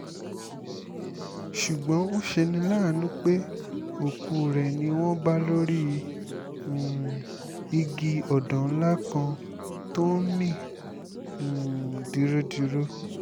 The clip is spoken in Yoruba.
ṣùgbọ́n ó ṣe ní láàánú pé òkú rẹ̀ ni wọ́n bá lórí um igi ọ̀dàn ńlá kan tó ń mì um dirodiro